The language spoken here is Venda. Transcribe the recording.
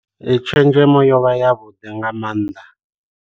Ee tshenzhemo yo vha yavhuḓi nga maanḓa.